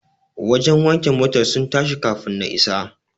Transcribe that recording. Wajen wanke motar sun tashi kafun na isa.